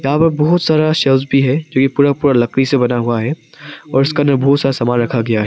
यहाँ पर बहोत सारा शेल्फ भी है जो यह पूरा पूरा लकड़ी से बना हुआ है और इसका अंदर बहुत सा सामान रखा गया है।